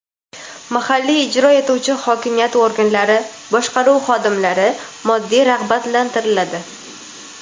mahalliy ijro etuvchi hokimiyat organlari boshqaruv xodimlari moddiy rag‘batlantiriladi.